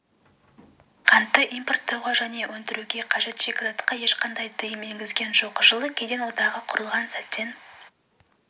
қантты импорттауға және өндіруге қажет шикізатқа ешқандай тыйым енгізген жоқ жылы кеден одағы құрылған сәттен